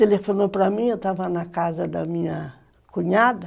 Telefonou para mim, eu estava na casa da minha cunhada.